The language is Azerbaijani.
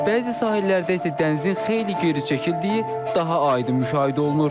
Bəzi sahillərdə isə dənizin xeyli geri çəkildiyi daha aydın müşahidə olunur.